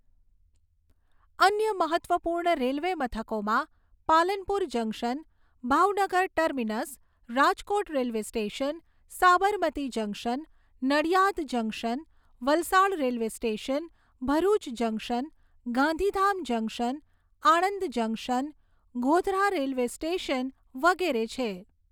અન્ય મહત્ત્વપૂર્ણ રેલવે મથકોમાં Palanpur junction, Bhavnagar terminus, Rajkot railway station, Sabarmati junction, Nadiad junction, Valsad railway station, Bharuch junction, Gandhidham junction, Anand junction, Godhra railway station વગેરે છે.